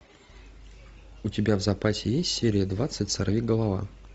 у тебя в запасе есть серия двадцать сорвиголова